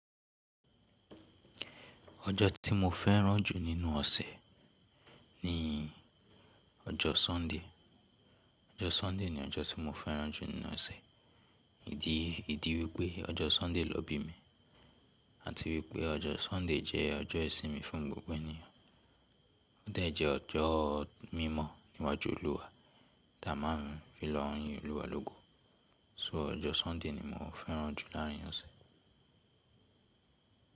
Ọjọ́ tí mo fẹ́ràn jù nínú ọ̀sẹ̀ ni ọjọ́ Sunday. Ọjọ́ Sunday ni ọjọ́ tí mo fẹ́ràn jù nínú ọ̀sẹ̀. Ìdí, ìdí wípé ọjọ́ Sunday lọ́ n bí mi àti wípé ọjọ́ Sunday jẹ́ ọjọ́ ìsinmi fún gbogbo ènìyàn. Ó de jẹ́ ọjọ́ mímọ̀ níwájú Olúwa tí a máa ń fi lọ n yín Olúwa lógo. So ọjọ́ Sunday ni mo fẹ́ràn jù láàrín ọ̀sẹ̀.